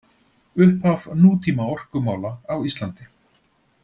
Upphaf nútíma orkumála á Íslandi